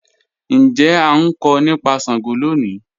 Njẹ a nkọ nipa Sango loni?